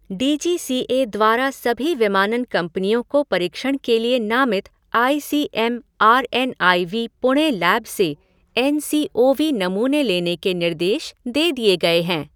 D G C A द्वारा सभी विमानन कंपनियों को परीक्षण के लिए नामित I C M R N I V Pune lab से एन सी ओ वी नमूने लेने के निर्देश दे दिए गए हैं।